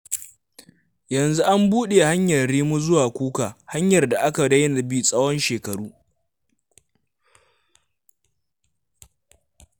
Yanzu an buɗe hanyar Rimi zuwa Kuka, hanyar da aka daina bi tsawon shekaru.